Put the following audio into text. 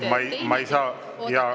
Aga ma ei saa …